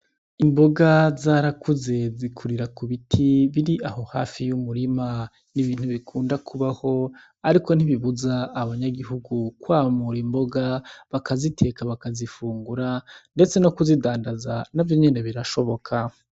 Imboga zarakuze zikurira ku biti biri aho hafi y'umurima. Ibi ntubikunda Kubaho ariko ntibibuza abanyagihugu kwamura imboga, bakaziteka bakazifungura ndetse no kuzidandaza navyo nyene birashoboka.